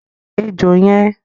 Pa ejò yẹn!